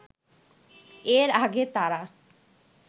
এর আগে তারা